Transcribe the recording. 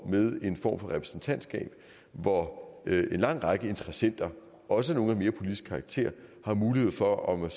med en form for repræsentantskab hvor en lang række interessenter også nogle af mere politisk karakter har mulighed for at om man